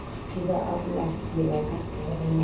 di ba arola ho ya